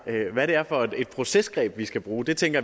hvad det er for et procesgreb vi skal bruge tænker